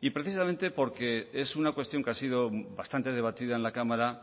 y precisamente porque es una cuestión que ha sido bastante debatida en la cámara